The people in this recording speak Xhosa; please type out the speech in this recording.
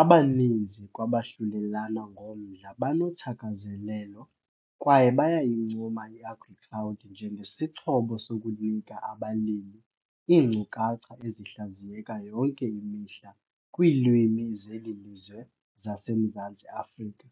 Abaninzi kwabahlulelana ngomdla banothakazelelo kwaye bayayincoma iAgriCloud njengesixhobo sokunika abalimi iinkcukacha ezihlaziyeka yonke imihla kwiilwimi zeli lizwe zaseMzantsi Afrika